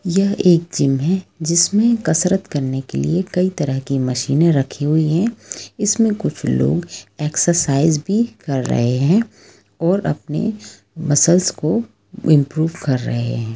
यह एक जिम है जिसमे कसरत करने के लिये कई तरह की मशीने रखी हुई है इसमे कुछ लोग एक्सरसाइज भी कर रहे है और अपने मसल्स को इम्प्रूव कर रहे हैं।